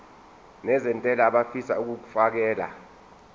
nezentela abafisa uukfakela